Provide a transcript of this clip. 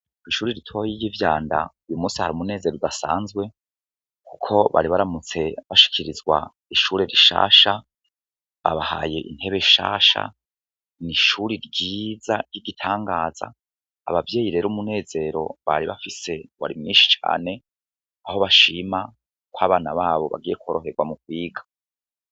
Ishuri ritoya ry'ivyanda , uyu munsi hari umunezero udasanzwe, kuko bari baramutse bashikirizwa ishure rishasha, babahaye intebe zishasha, ishuri ryiza ry'igitangaza, abavyeyi rero umunezero bari bafise wari mwinshi cane, aho bashima kw'abana babo bagiye kworoherwa mukwiga.